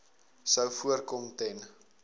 sou voorkom ten